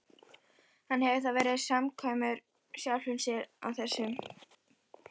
Hann hefur þá verið samkvæmur sjálfum sér á þessum miðilsfundi.